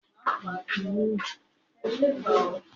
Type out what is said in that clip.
Awon àgbè ko ni nílò kòkòrò láti máa fi ṣe ajilẹ mọ nítorí òlàjú